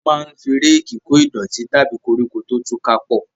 A máa fi Réèkì kò ìdọ̀tí tàbí koríko tó tú ká pọ